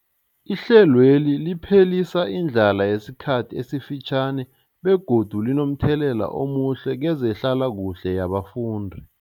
Ihlelweli liphelisa indlala yesikhathi esifitjhani begodu linomthelela omuhle kezehlalakuhle yabafundi.